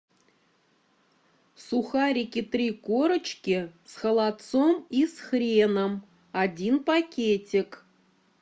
сухарики три корочки с холодцом и с хреном один пакетик